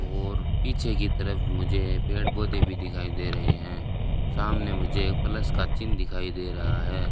और पीछे की तरफ मुझे पेड़ पौधे भी दिखाई दे रहे हैं सामने मुझे प्लस का चिन्ह दिखाई दे रहा है।